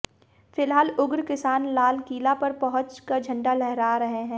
फिलहाल उग्र किसान लाल किला पर पहुंच कर झंडा लहरा रहे है